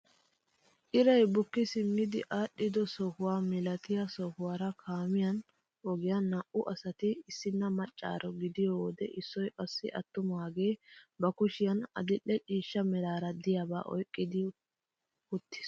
Iray bukki simmi aadhido sohuwaa milatiyaa sohuwaara kaamiyaan ogiyaan naa"u asati issinna maccaaro gidiyoo wode issoy qassi attumagee ba kushiyaan adil'e ciishsha meraara de'iyaaba oyqqi wottiis!